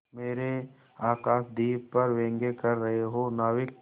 मेरे आकाशदीप पर व्यंग कर रहे हो नाविक